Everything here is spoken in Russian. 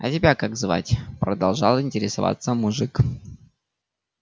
а тебя как звать продолжал интересоваться мужик